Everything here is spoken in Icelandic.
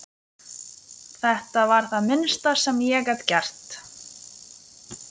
Þetta var það minnsta sem ég gat gert